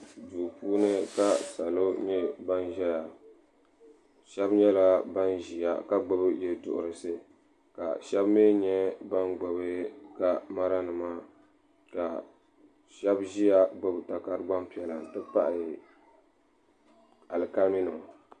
Duu puuni ka salo nyɛ ban ʒɛya sheba nyɛla ban ʒia n gbibi yeduhurisi ka sheba mee nyɛ ban gbibi kamara nima ka sheba ʒia gbibi takara gbampiɛla n ti pahi alikalimi nima.